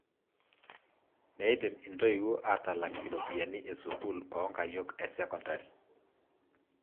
Meidim intoiwuo aatalak iropiyiani e sukuul oo nkayiok e sekondari.